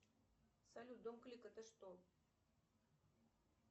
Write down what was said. салют дом клик это что